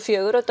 fjögur